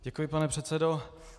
Děkuji, pane předsedo.